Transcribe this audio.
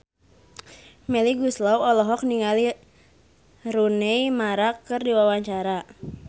Melly Goeslaw olohok ningali Rooney Mara keur diwawancara